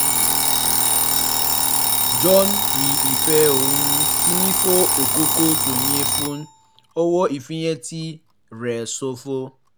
john rí i pé òun ti ń fi àkókò tó yẹ fún owó ìfẹ̀yìntì rẹ̀ ṣòfò